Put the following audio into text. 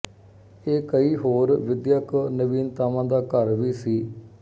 ਇਹ ਕਈ ਹੋਰ ਵਿਦਿਅਕ ਨਵੀਨਤਾਵਾਂ ਦਾ ਘਰ ਵੀ ਸੀ